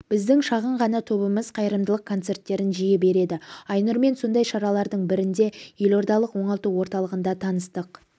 біздің шағын ғана тобымыз қайырымдылық концерттерін жиі береді айнұрмен сондай шаралардың бірінде елордалық оңалту орталығында таныстық